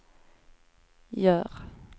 gör